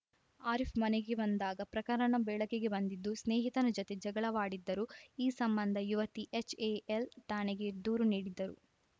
ಆರೀಫ್‌ ಮನೆಗೆ ಬಂದಾಗ ಪ್ರಕರಣ ಬೆಳಕಿಗೆ ಬಂದಿದ್ದು ಸ್ನೇಹಿತನ ಜತೆ ಜಗಳವಾಡಿದ್ದರು ಈ ಸಂಬಂಧ ಯುವತಿ ಎಚ್‌ಎಎಲ್‌ ಠಾಣೆಗೆ ದೂರು ನೀಡಿದ್ದರು